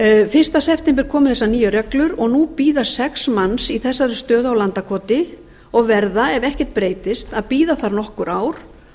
fyrsta september síðastliðinn komu þessar nýju reglur og nú bíða sex manns í þessari stöðu á landakoti og verða ef ekkert breytist að bíða þar nokkur ár